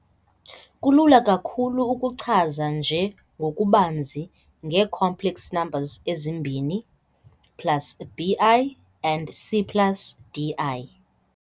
Kulula kakhulu ukuchaza nje ngokubanzi, ngee-complex numbers ezimbini plus bi and c plus di.